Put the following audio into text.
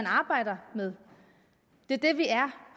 arbejder med det er det vi er